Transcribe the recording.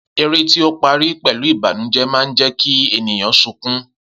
Eré tí ó parí pẹ̀lú Ìbànújẹ́ máa ń jẹ́ kí ènìyàn sukún